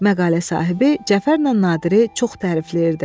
Məqalə sahibi Cəfərlə Nadiri çox tərifləyirdi.